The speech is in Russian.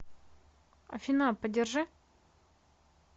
афина подержи